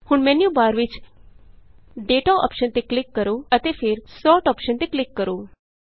ਹੁਣ ਮੈਨਯੂਬਾਰ ਵਿਚ Dataਅੋਪਸ਼ਨ ਤੇ ਕਲਿਕ ਕਰੋ ਅਤੇ ਫਿਰ Sortਅੋਪਸ਼ਨ ਤੇ ਕਲਿਕ ਕਰੋ